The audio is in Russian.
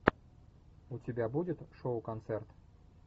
у тебя будет шоу концерт